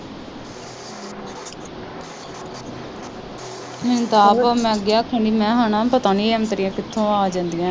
ਮੈਨੂੰ ਤੇ ਆਪ ਮੈ ਅੱਗੇ ਆਖਣ ਦੀ ਹਾਂ ਮੈ ਕਿਹਾ ਹੈਨਾ ਪਤਾ ਨਹੀਂ ਇਹ ਔਂਤਰੀਆ ਕਿਥੋਂ ਆ ਜਾਂਦੀਆਂ।